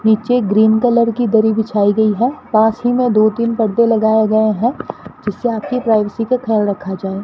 नीचे green colour की दरी बिछाई गई है पास ही में दो तीन पर्दे लगाए गए हैं जिससे आपकी प्राइवेसी का ख्याल रखा जाए।